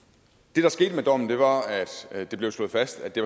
det der skete med dommen var at det blev slået fast at det